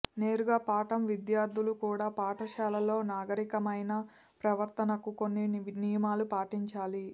నేరుగా పాఠం విద్యార్థులు కూడా పాఠశాలలో నాగరికమైన ప్రవర్తనకు కొన్ని నియమాలు పాటించాలి